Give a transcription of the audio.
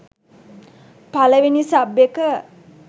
පළවෙනි සබ් එක